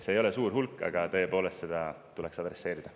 See ei ole suur hulk, aga seda tuleks tõepoolest adresseerida.